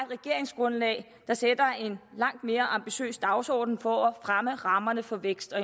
regeringsgrundlag der sætter en langt mere ambitiøs dagsorden for at fremme rammerne for vækst og